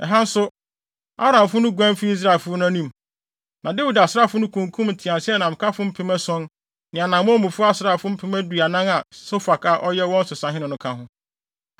Ɛha nso, Aramfo no guan fii Israelfo no anim, na Dawid asraafo no kunkum nteaseɛnamkafo mpem ason ne anammɔnmufo asraafo mpem aduanan a Sofak a ɔyɛ wɔn so sahene no ka ho.